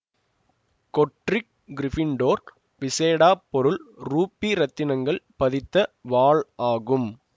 Godric Gryffindor விசேட பொருள் ruby இரத்தினக்கல் பதித்த வாழ் ஆகும்